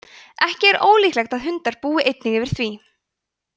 ekki er ólíklegt að hundar búi einnig yfir því